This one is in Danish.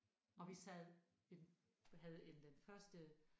Og vi sad ved den havde en den første